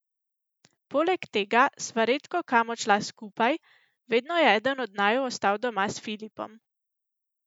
Poleg tega sva redko kam odšla skupaj, vedno je eden od naju ostal doma s Filipom.